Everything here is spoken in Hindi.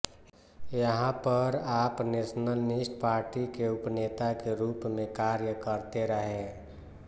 यहाँ पर आप नेशनलिस्ट पार्टी के उपनेता के रूप में कार्य करते रहे